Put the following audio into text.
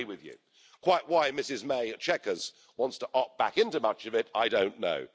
I agree with you. Quite why Ms May at Chequers wants to opt back into much of it, I don't know.